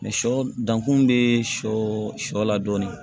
Sɔ dankun be sɔ sɔ la dɔɔni